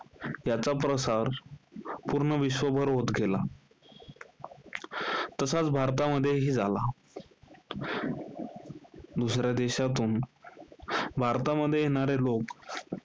त्याचा प्रसार पूर्ण विश्वभर होत गेला. तसाच भारतामध्येही झाला. दुसऱ्या देशातून, भारतामध्ये येणारे लोक,